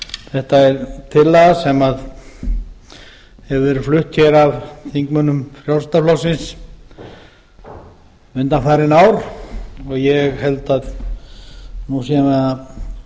þetta er tillaga sem hefur verið flutt af þingmönnum frjálslynda flokksins undanfarin ár og ég held að nú séum við að